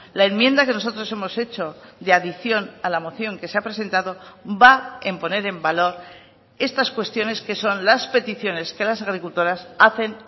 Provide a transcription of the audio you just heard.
la enmienda que nosotros hemos hecho de adición a la moción que se ha presentado va en poner en valor estas cuestiones que son las peticiones que las agricultoras hacen